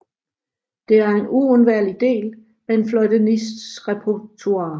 Det er en uundværlig del af en fløjtenists repertoire